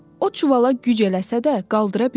O çuvala güc eləsə də qaldıra bilmədi.